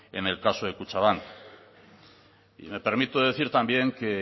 en el caso de kutxabank me permito decir también que